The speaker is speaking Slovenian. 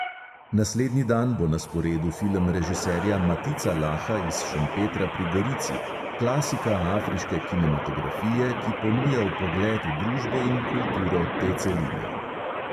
Naslednji dan bo na sporedu film režiserja matica laha iz šempetra pri gorici, klasika afriške kinematografije, ki ponuja vpogled v družbo in kulturo te celine.